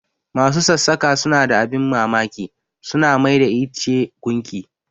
Masu sassaƙa suna da abin mamaki, su na mai da ice gunki.